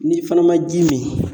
N'i fana ma ji min